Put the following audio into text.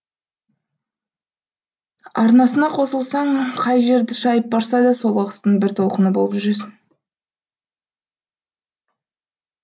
арнасына қосылсаң қай жерді шайып барса да сол ағыстың бір толқыны болып жүресің